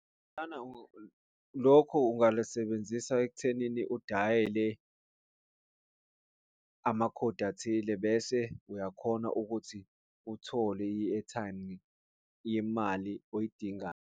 Lokho ungalisebenzisa ekuthenini udayele amakhodi athile bese uyakhona ukuthi uthole i-airtime yemali oyidingayo.